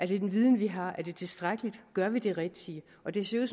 hvilken viden vi har er det tilstrækkeligt gør vi det rigtige og det ser